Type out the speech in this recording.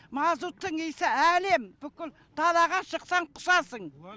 мазуттың иісі әлем бүкіл далаға шықсаң құсасың